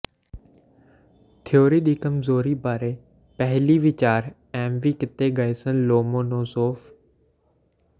theory ਦੀ ਕਮਜ਼ੋਰੀ ਬਾਰੇ ਪਹਿਲੀ ਵਿਚਾਰ ਐਮਵੀ ਕੀਤੇ ਗਏ ਸਨ ਲੋਮੋਨੋਸੋਵ